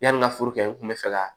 Yani n ka foro kɛ n kun bɛ fɛ ka